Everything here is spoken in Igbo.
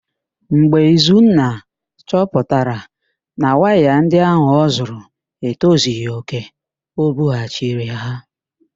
Mgbe Izunna chọpụtara na waya ndị ahụ ọzụrụ etozighi òkè, o bughachiri ha.